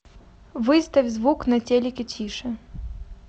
выставь звук на телике тише